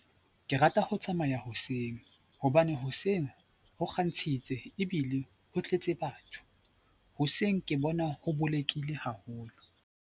Ke rata ho tsamaya hoseng hobane hoseng ho kgantshitse ebile ho tletse batho. Hoseng ke bona ho bolekile haholo.